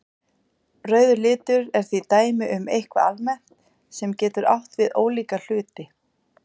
Rauður litur er því dæmi um eitthvað almennt sem getur átt við ólíka hluti.